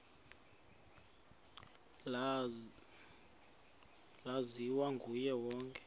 laziwa nguye wonke